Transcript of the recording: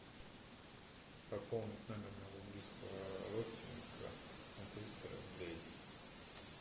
пополнить номер моего близкого родственника на триста рублей